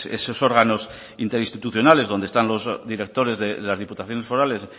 esos órganos interinstitucionales donde están los directores de las diputaciones forales